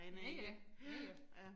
Ja ja. Ja ja